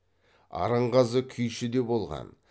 арынғазы күйші де болған